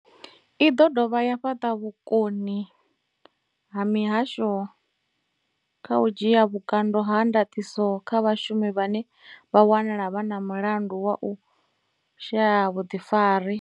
I ḓo dovha ya fhaṱa vhukoni ha mihasho kha u dzhia vhukando ha ndaṱiso kha vhashumi vhane vha wanala vhe na mulandu wa u shaya vhuḓifari.